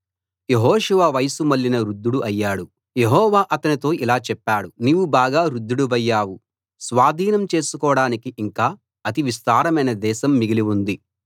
యెహోషువ వయసు మళ్ళిన వృద్ధుడు అయ్యాడు యెహోవా అతనితో ఇలా చెప్పాడు నీవు బాగా వృద్ధుడివయ్యావు స్వాధీనం చేసుకోడానికి ఇంకా అతి విస్తారమైన దేశం మిగిలి ఉంది